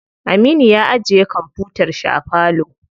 Aminu ya ajiye kwamfutar shi a falo.